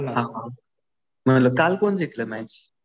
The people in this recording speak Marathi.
हा हा. मी म्हटलं काल कोण जिंकलं मॅच?